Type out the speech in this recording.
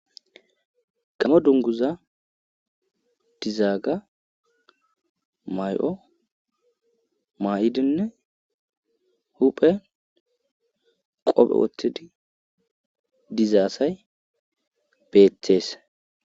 gamo dunguza dizaaga may'o maa'idinne huphe qopphe woththidi diza assay beetees